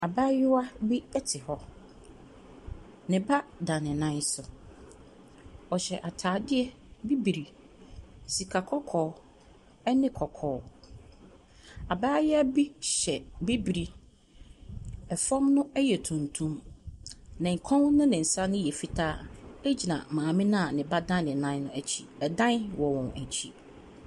Abaayewa bi te hɔ. Ne ba da ne nan so. Ɔhyɛ atadeɛ bibire, sikakɔkɔɔ ne kɔkɔɔ. Abaayewa bi hyɛ bibire. Fam no yɛ tuntum. Ne kɔn ne ne nsa no yɛ fitaa gyina maame no a ne ba da ne nan no akyi. Ɛdan wɔ wɔn akyi.